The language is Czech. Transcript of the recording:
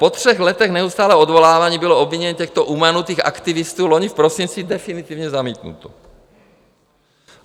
Po třech letech neustálého odvolávání bylo obvinění těchto umanutých aktivistů loni v prosinci definitivně zamítnuto.